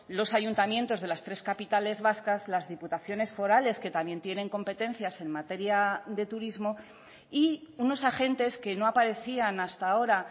los ayuntamientos de las tres capitales vascas las diputaciones forales que también tienen competencias en materia de turismo y unos agentes que no aparecían hasta ahora